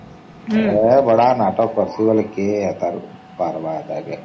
ଏ ବଡ ନାଟକ କରିଛେ ଯେ କେଏ ଏନ୍ତା ରୁ ପରିବା ଏକ କେ